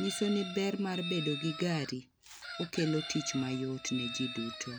Nyiso ni ber mar bedo gi gari okelo tich mayot ne jii duto